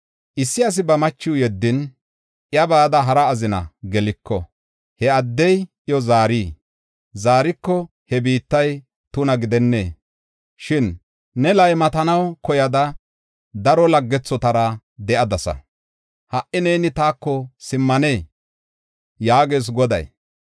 “Issi asi ba machiw yeddin, iya bada hara azina geliko, he addey iyo zaarii? Zaariko he biittay tuna gidennee? Shin ne laymatanaw koyada daro laggethotara de7adasa; ha77i neeni taako simmanee? yaagees Goday